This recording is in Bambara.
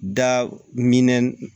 Da minɛn